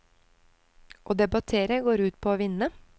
Å debattere går ut på å vinne.